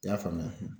I y'a faamuya